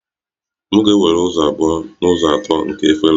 M ga-ewere ụzọ abụọ n'ụzọ atọ nke efere